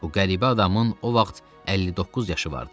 Bu qəribə adamın o vaxt 59 yaşı vardı.